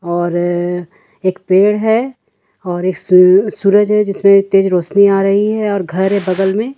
और अ एक पेड़ है और एक सूरज है जिसमें तेज रोशनी आ रही है और घर है बगल में।